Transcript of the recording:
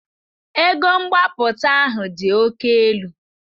Ego mgbapụta ahụ dị oke elu.